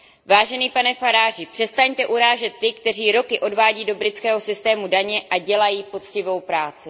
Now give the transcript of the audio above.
Vážený pane Faragi, přestaňte urážet ty, kteří roky odvádí do britského systému daně a dělají poctivou práci.